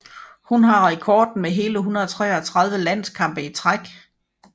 Hun har rekorden med hele 133 landskampe i træk